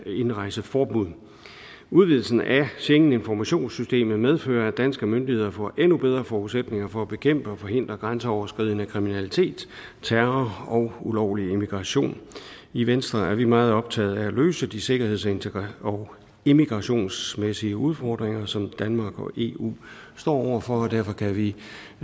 indrejseforbud udvidelsen af schengeninformationssystemet medfører at danske myndigheder får endnu bedre forudsætninger for at bekæmpe og forhindre grænseoverskridende kriminalitet terror og ulovlig immigration i venstre er vi meget optaget af at løse de sikkerhedsmæssige og immigrationsmæssige udfordringer som danmark og eu står over for og derfor kan vi